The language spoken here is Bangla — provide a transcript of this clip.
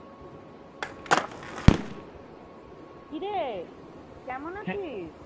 কি রে কেমন আছিস?